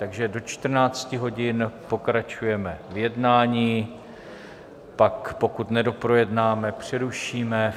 Takže do 14.00 hodin pokračujeme v jednání, pak, pokud nedoprojednáme, přerušíme.